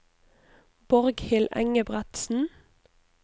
Borghild Engebretsen